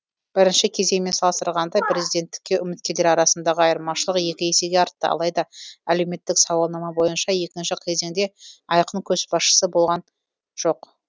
бірінші кезеңмен салыстырғанда президенттікке үміткерлер арасындағы айырмашылық екі есеге артты алайда әлеуметтік сауалнама бойынша екінші кезеңде айқын көшбасшысы болған жоқ